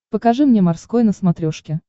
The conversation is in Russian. покажи мне морской на смотрешке